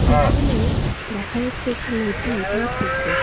পেছনে দেখা যাচ্ছে একটি নদী বা পুকুর।